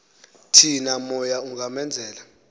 thi namoya ungamenzela